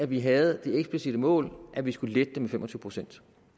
vi havde det eksplicitte mål at vi skulle lette det med fem og tyve procent